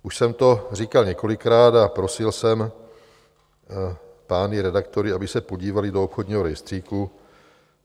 Už jsem to říkal několikrát a prosil jsem pány redaktory, aby se podívali do obchodního rejstříku.